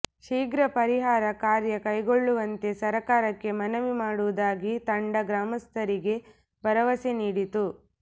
ಶೀಘ್ರ ಪರಿಹಾರ ಕಾರ್ಯ ಕೈಗೊಳ್ಳುವಂತೆ ಸರ್ಕಾರಕ್ಕೆ ಮನವಿ ಮಾಡುವುದಾಗಿ ತಂಡ ಗ್ರಾಮಸ್ಥರಿಗೆ ಭರವಸೆ ನೀಡಿತು